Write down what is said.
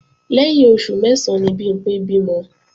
Lẹ́yìn oṣù mẹ́sán ni Bimpé bímọ